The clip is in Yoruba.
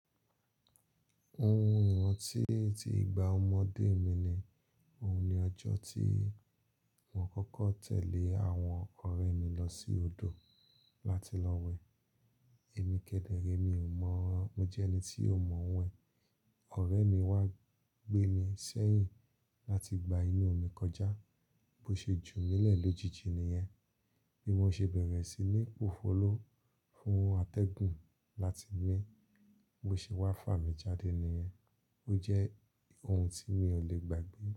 Ohun ìrántí tí ìgbà ọmọdé mi ni, òun ni ọjọ́ tí mo kọ́kọ́ tẹ̀lé àwọn ọ̀rẹ́ mi lọ sí odò láti lọ wẹ̀. Èmi kẹ́dẹ̀rẹ̀, mi ò mọ̀, mo jẹ́ ẹni tí ò mọ̀ wẹ̀. Ọ̀rẹ́ mi wá gbé mi sẹ́yìn láti gba inú mi kọjá. Bo ṣe jù mí lẹ̀ lójijì ni yẹn. Bí mo ṣe bẹ̀rẹ̀ sí ní pòfòló fún àtẹ̀gùn láti mí, bo ṣe wá fà mí jáde ni yẹn. Ó jẹ́ ohun tí mi ò lè gbàgbé.